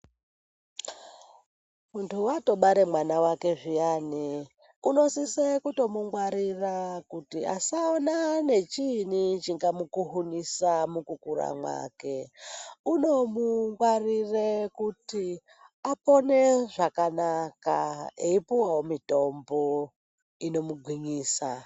Muntu watobara mwana wake zviyani anosise kutomungwarira kuti asaonana nechiinyi chingamukuhunisa mukukura mwake unomungwarire kuti apone zvakanaka eipuwawo mitombo inomugwinyisa.